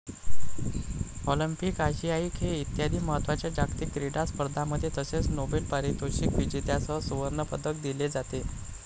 Olympic, आशियाई खेळ इत्यादी महत्त्वाच्या जागतिक क्रीडा स्पर्धांमध्ये तसेच नोबेल पारितोषिक विजेत्यास सुवर्णपदक दिले जाते.